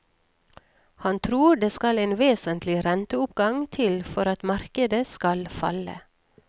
Han tror det skal en vesentlig renteoppgang til for at markedet skal falle.